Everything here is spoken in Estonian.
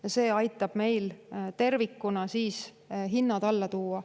Ja see tervikuna aitab meil hinnad alla tuua.